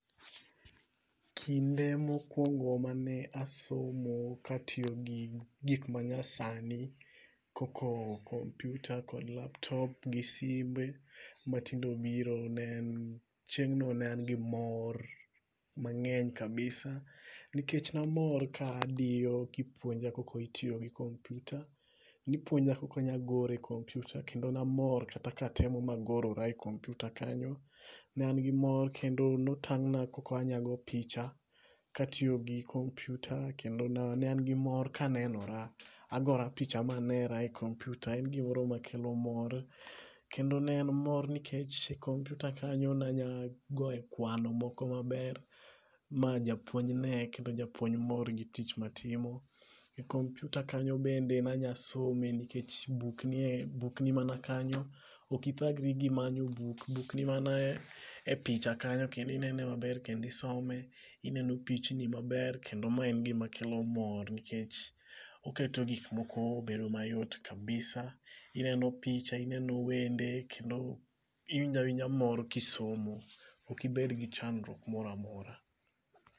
Kinde mokwongo mane asomo katiyogi gik manyasani kompiuta kod laptop gi simbe, matinde obiro chieng'no ne an gi mor mang'eny kabisa nikech namor ka adiyo kipuonja koko itiyo gi kompiuta, nipuonja koko ogoro e kompiuta kendo namor kata katemo magorora e kompiuta kanyo. Ne an gi mor kendo notang'na koko anya go picha kataiyogi kompiuta kendo ne an gi mor kanenora, agora picha manera e kompiuta en gimoro makelo mor kendo ne en mor nikech kompiuta kanyo nanya go e kwano moko maber ma japuonj ne kendo japuonj mor gi tich matimo. E kompiuta kanyo bende nanya some nikech buk nimana kanyo ok ithagri gimanyo buk buk nimana e picha kanyo kendo inene maber kendo isome ineno pichni maber kendo ma en gimakelo mor nikech oketo gikmoko bedo mayot kabisa. Ineno picha, ineno wende kendo iwinjo awinja mor kisomo. Ok ibedgi chandruok moro amora.